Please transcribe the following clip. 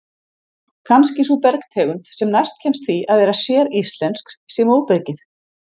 Kannski sú bergtegund sem næst kemst því að vera séríslensk sé móbergið.